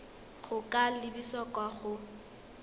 go ka lebisa kwa go